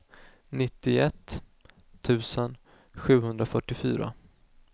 nittioett tusen sjuhundrafyrtiofyra